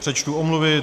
Přečtu omluvy.